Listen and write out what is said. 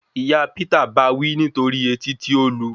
Ìyá Peter báa wí nítorí etí tí ó lu